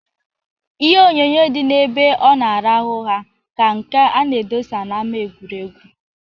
Ihe onyoonyoo dị n'ebe ọ na-arahụ ha ka nke a na-edosa na-ama egwuregwu.